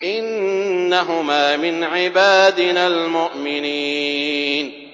إِنَّهُمَا مِنْ عِبَادِنَا الْمُؤْمِنِينَ